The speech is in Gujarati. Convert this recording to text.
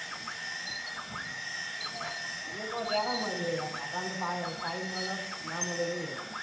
મું કવ ચ્યારે મલયે રાકા ને તો time મલ ના મળે એવું હ.